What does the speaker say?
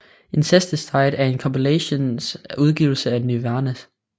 Incesticide er en kompilations udgivelse af Nirvana